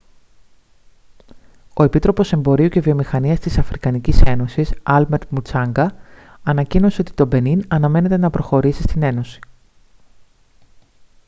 ο επίτροπος εμπορίου και βιομηχανίας της αφρικανικής ένωσης άλμπερτ μουτσάνγκα ανακοίνωσε ότι το μπενίν αναμένεται να προσχωρήσει στην ένωση